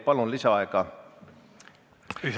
Palun lisaaega!